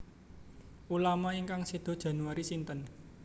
Ulama ingkang sedo Januari sinten